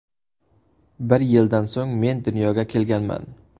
Bir yildan so‘ng men dunyoga kelganman.